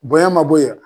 Bonɲɛ ma bɔ yan